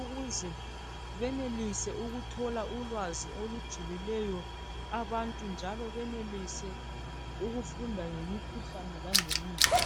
ukuze benelise ukuthola ulwazi olujulileyo abantu njalo benelise ukufunda ngemikhuhlane langemithi.